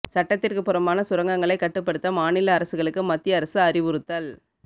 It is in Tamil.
சட்டத்திற்கு புறம்பான சுரங்கங்களை கட்டுப்படுத்த மாநில அரசுகளுக்கு மத்திய அரசு அறிவுறுத்தல்